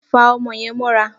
Fa o̩mo̩ ye̩n mó̩ra!